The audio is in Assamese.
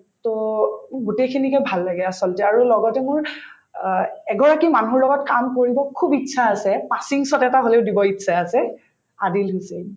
to গোটেইখিনিকে ভাল লাগে আচলতে আৰু লগতে মোৰ অ এগৰাকী মানুহৰ লগত কাম কৰিব খুব ইচ্ছা আছে এটা মানে দিব ইচ্ছা আছে আদিল হুছেইন